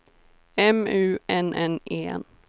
M U N N E N